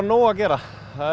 nóg að gera